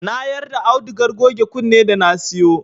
Na yarda audugar goge kunne da na siyo